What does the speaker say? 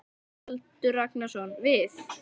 Baldur Ragnarsson: Við?